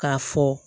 K'a fɔ